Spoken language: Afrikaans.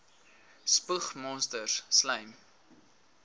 spoeg monsters slym